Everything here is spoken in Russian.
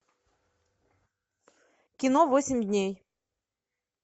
кино восемь дней